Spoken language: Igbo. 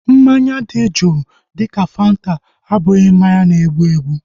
Mmanya dị juu dịka fanta abụghị mmanya na-egbu egbu